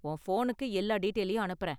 உன் ஃபோனுக்கு எல்லா டீடெயிலயும் அனுப்புறேன்.